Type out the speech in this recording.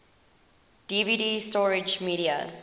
dvd storage media